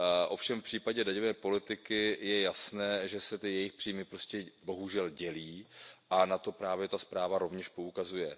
Ovšem v případě daňové politiky je jasné, že se ty jejich příjmy prostě bohužel dělí, a na to právě ta zpráva rovněž poukazuje.